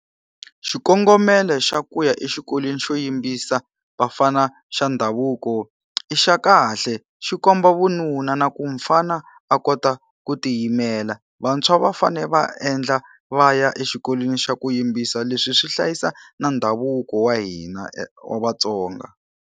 Xikongomelo xa ku ya exikolweni xo yimbisa vafana xa ndhavuko i xa kahle, xi komba vununa na ku mufana a kota ku tiyimela. Vantshwa va fanele va endla va ya exikolweni xa ku yimbisa, leswi swi hlayisa na ndhavuko wa hina wa vaTsonga.